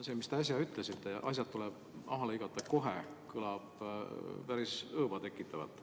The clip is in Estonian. See, mis te äsja ütlesite – asjad tuleb läbi lõigata kohe –, kõlab päris õõva tekitavalt.